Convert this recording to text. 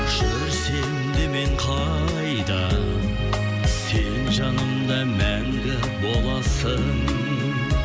жүрсем де мен қайда сен жанымда мәңгі боласың